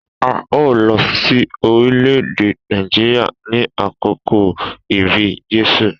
A o lọ sí orílẹ̀-èdè Nàìjíríà ni àkókò ibi Jésù.